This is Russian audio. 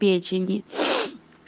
печени